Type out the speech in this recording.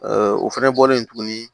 o fɛnɛ bɔlen tuguni